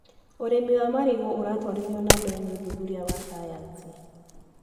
ũrĩmi wa marigũ ũratwarithio na mbere nĩ ũthuthuria wa sayansi.